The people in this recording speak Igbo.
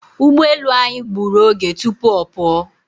Ugboelu anyị gburu oge tụpụ ọ pụọ.